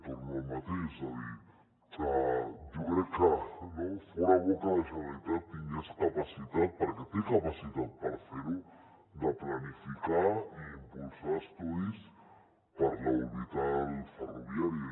torno al mateix és a dir jo crec que fora bo que la generalitat tingués capacitat perquè té capacitat per fer ho de planificar i impulsar estudis per a l’orbital ferroviària